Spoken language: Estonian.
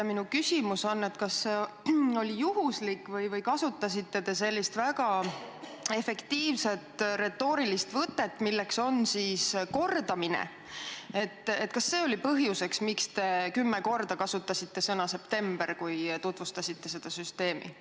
Minu küsimus on, kas see oli juhuslik või te kasutasite sellist väga efektiivset retoorilist võtet, milleks on kordamine, et te kümme korda kasutasite sõna "september", kui tutvustasite seda süsteemi.